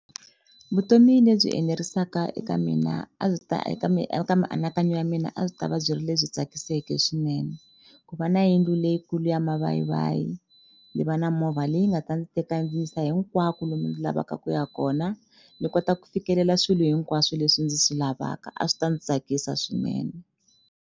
Vutomi lebyi enerisaka eka mina a byi ta eka eka mianakanyo ya mina a byi ta va byi ri lebyi tsakiseke swinene ku va na yindlu leyikulu ya mavayivayi ni va na movha leyi nga ta ndzi teka yi ndzi yisa hinkwako lomu ndzi lavaka ku ya kona ni kota ku fikelela swilo hinkwaswo leswi ndzi swi lavaka a swi ta ndzi tsakisa swinene.